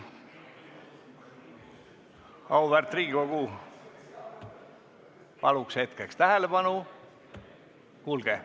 Auväärt Riigikogu, palun hetkeks tähelepanu!